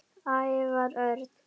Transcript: Ævar Örn